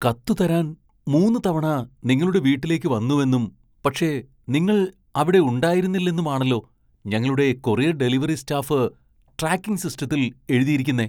കത്ത് തരാൻ മൂന്ന് തവണ നിങ്ങളുടെ വീട്ടിലേക്ക് വന്നുവെന്നും , പക്ഷെ നിങ്ങൾ അവിടെ ഉണ്ടായിരുന്നില്ലെന്നുമാണല്ലോ ഞങ്ങളുടെ കൊറിയർ ഡെലിവറി സ്റ്റാഫ് ട്രാക്കിംഗ് സിസ്റ്റത്തിൽ എഴുതിയിരിക്കുന്നെ!